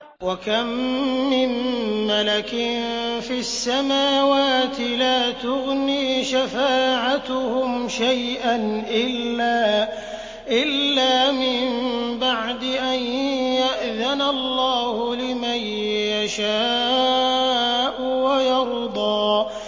۞ وَكَم مِّن مَّلَكٍ فِي السَّمَاوَاتِ لَا تُغْنِي شَفَاعَتُهُمْ شَيْئًا إِلَّا مِن بَعْدِ أَن يَأْذَنَ اللَّهُ لِمَن يَشَاءُ وَيَرْضَىٰ